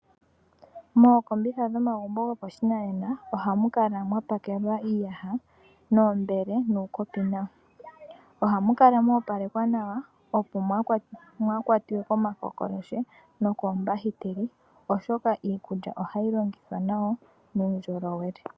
Mookombitha dhomagumbo gopashinanena ohamu kala mwa pakelwa iiyaha niimbele nuukopi nawa. Ohamu kala mo opalekwa nawa, opo mwaa kwatwe komakokolotye nokoombahiteli, oshoka iikulya ohayi longithwa nawa nuundjolowele.